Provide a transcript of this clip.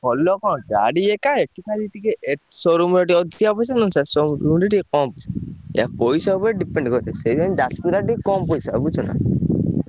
ଭଲ କଣ ଗାଡି ଏକା ଏଠି ଖାଲି ଟିକେ ଏ showroom ରେ ଟିକେ ଅଧିକା ପଇସା ନହେଲେ ସେ ସବୁ ଟିକେ କମ୍ ପଇସା। ଏୟା ପଇସା ଉପରେ depend କରେ। ସେଇଥିପାଇଁ ଯାଜପୁର ଆଡେ ଟିକେ କମ୍ ପଇସା ବୁଝୁଛନା।